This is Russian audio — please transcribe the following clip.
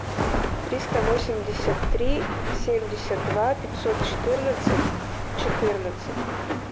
триста восемьдесят три семьдесят два пятьсот четырнадцать четырнадцать